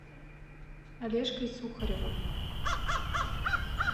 олежкой сухаревым